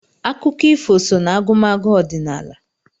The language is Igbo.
Akụkọ ifo so n'agụmagụ ọdịnala.